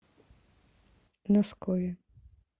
носкове